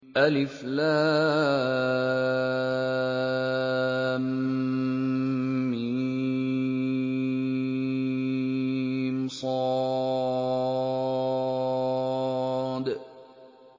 المص